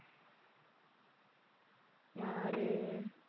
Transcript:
யாரு?